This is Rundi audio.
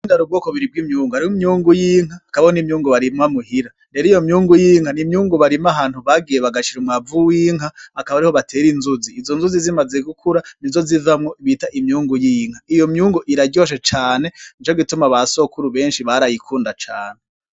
Mu Burundi hari ubwoko bubiri bw'imyungu hariho imyungu y'inka hariho n'imyungu barima muhira, rero iyo myungu y'inka n'imyungu barima aho bagiye bagashira umwavu w'inka akaba ariho batera inzuzi, izo nzuzi zimaze gukura nizo zivamwo iyo bita imyungu y'inka, iyo myungu iraryoshe cane nico gutuma na basokuru benshi barayikunda cane.